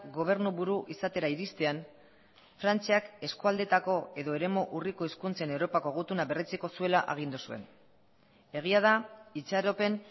gobernuburu izatera iristean frantziak eskualdeetako edo eremu urriko hizkuntzen europako gutuna berretsiko zuela agindu zuen egia da itxaropen